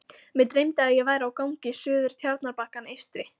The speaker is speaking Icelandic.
Mig dreymdi, að ég væri á gangi suður Tjarnarbakkann eystri.